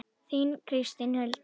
Þín Kristín Hulda.